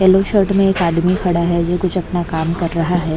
Yellow shirt में एक आदमी खड़ा है जो कुछ अपना काम कर रहा है।